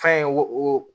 Fɛn wo o